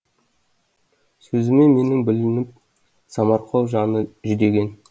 сөзіме менің бүлініп самарқау жаны жүдеген